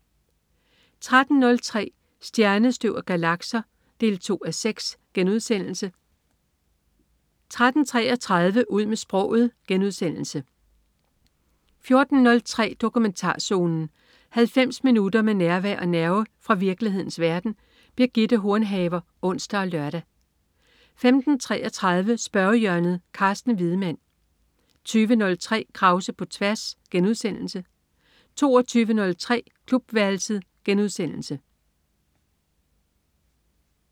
13.03 Stjernestøv og galakser 2:6* 13.33 Ud med sproget* 14.03 Dokumentarzonen. 90 minutter med nærvær og nerve fra virkelighedens verden. Birgitte Hornhaver (ons og lør) 15.33 Spørgehjørnet. Carsten Wiedemann 20.03 Krause på tværs* 22.03 Klubværelset*